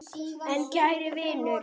En kæri vinur.